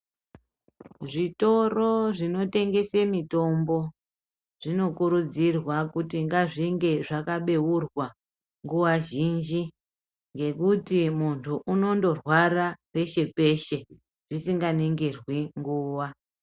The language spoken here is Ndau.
Zvitoro, zvinotengese mutombo zvinokuridzirwa kuti ngazvinge zvakabeura nguwa zhinji ngekuti munhu unondorwara peshe -peshe zvisinganingirwi nguwa.